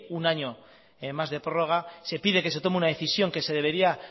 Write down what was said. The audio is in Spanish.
un año más de prórroga se pide que se tome una decisión que se debería